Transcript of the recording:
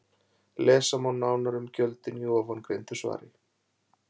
Lesa má nánar um gjöldin í ofangreindu svari.